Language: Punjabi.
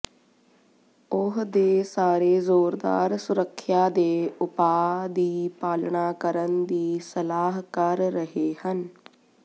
ਉਹ ਦੇ ਸਾਰੇ ਜ਼ੋਰਦਾਰ ਸੁਰੱਖਿਆ ਦੇ ਉਪਾਅ ਦੀ ਪਾਲਣਾ ਕਰਨ ਦੀ ਸਲਾਹ ਕਰ ਰਹੇ ਹਨ